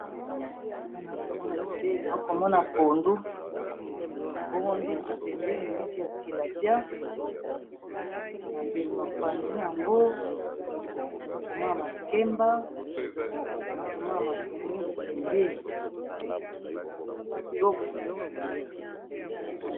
Awa nakomona bileyi nakomona pondu bongo mbisi pembeni mbisi ya tilapia na pe mopanzi nango nakomona makemba nakomona matungulu pembeni kitoko.